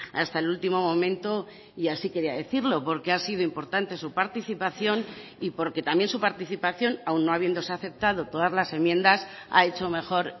hasta el último momento y así quería decirlo porque ha sido importante su participación y porque también su participación aun no habiéndose aceptado todas las enmiendas ha hecho mejor